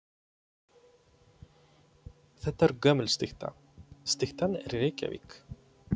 Þetta er gömul stytta. Styttan er í Reykjavík.